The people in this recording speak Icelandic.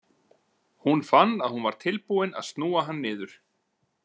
Hún fann að hún var tilbúin að snúa hann niður.